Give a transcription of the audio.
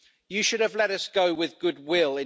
You should have let us go with good will.